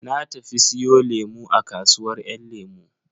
Na tafi siyo lemu a kasuwar yan lemu.